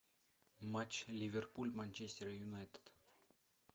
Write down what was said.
матч ливерпуль манчестер юнайтед